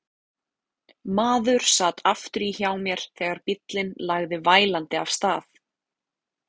Maður sat aftur í hjá mér þegar bíllinn lagði vælandi af stað.